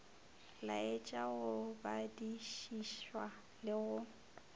laetša go badišišwa le go